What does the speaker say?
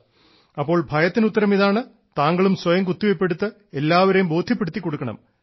അപ്പോൾ ഭയത്തിന് ഉത്തരം ഇതാണ് താങ്കളും സ്വയം കുത്തിവെയ്പ് എടുത്ത് എല്ലാവരേയും ബോദ്ധ്യപ്പെടുത്തിക്കൊടുക്കണം